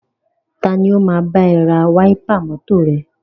Tani o máa bá ẹ ra wáípà mọ́tọ̀ rẹ?